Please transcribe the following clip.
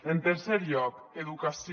en tercer lloc educació